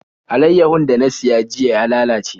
Alaiyahun da na siya jiya ya lalace.